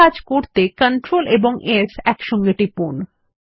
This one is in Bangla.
এই কাজ করতে Ctrl s একসঙ্গে টিপুন